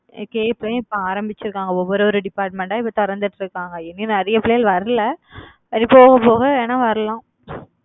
அஹ் இப்ப ஆரம்பிச்சிருக்காங்க. ஒவ்வொரு ஒரு department ஆ இப்ப திறந்துட்டு இருக்காங்க நிறைய பிள்ளைங்க வரல அது போக போக வேணா வரலாம்.